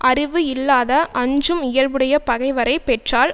அறிவு இல்லாத அஞ்சும் இயல்புடைய பகைவரை பெற்றால்